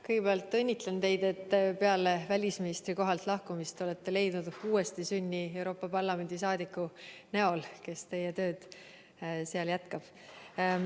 Kõigepealt õnnitlen teid, et peale välisministri kohalt lahkumist te olete leidnud uuestisünni Euroopa Parlamendi saadiku näol, kes teie tööd seal jätkab.